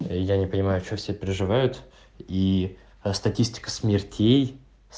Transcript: я не понимаю что все переживают и статистика смертей